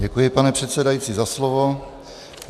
Děkuji, pane předsedající, za slovo.